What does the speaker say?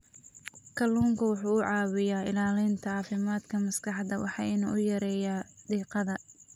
Kalluunku waxa uu caawiyaa ilaalinta caafimaadka maskaxda waxana uu yareeyaa diiqada.